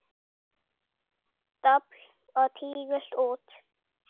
Dobl og tígull út.